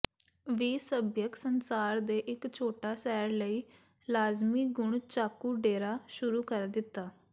ਵੀ ਸੱਭਿਅਕ ਸੰਸਾਰ ਦੇ ਇੱਕ ਛੋਟਾ ਸੈਰ ਲਈ ਲਾਜ਼ਮੀ ਗੁਣ ਚਾਕੂ ਡੇਰਾ ਸ਼ੁਰੂ ਕਰ ਦਿੱਤਾ